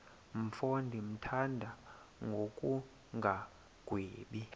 mfo ndimthanda ngokungagwebi